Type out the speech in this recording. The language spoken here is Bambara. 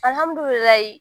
Al amdulilayi.